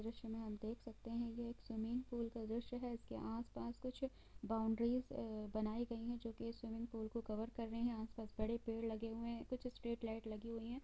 इस द्रश्य में हम देख सकते है की यह एक स्विमिंग पूल का द्रश्य है इसके आस-पास कुछ बॉउनडेरी अ बनाई गई है जो के स्विमिंग पूल को कवर कर रही है आस-पास बड़े पेड़ लगे हुए है कुछ स्ट्रेट लाइट लगी हुई है।